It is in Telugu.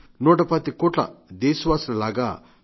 నూట పాతిక కోట్ల దేశవాసుల లాగా